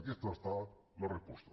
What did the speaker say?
aquesta ha estat la resposta